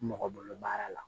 Mɔgɔ bolo baara la